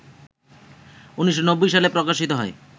১৯৯০ সালে প্রকাশিত হয়